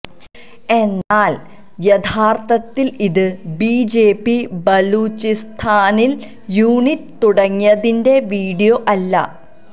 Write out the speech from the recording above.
എന്നാൽ യഥാർത്ഥത്തിൽ ഇത് ബിജെപി ബലൂചിസ്ഥാനിൽ യൂണിറ്റ് തുടങ്ങിയതിന്റെ വീഡിയോ അല്ല